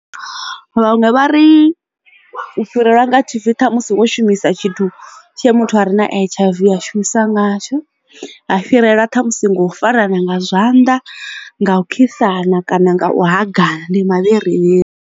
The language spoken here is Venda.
Vhaṅwe vha ri u fhirelwa nga T_B thamusi wo shumisa tshithu tshe muthu a re na H_I_V ya shumisa ngatsho ha fhirelwa ṱhamusi ngo farana nga zwanḓa nga u khisana kana nga u hagana ndi mavhari vhari.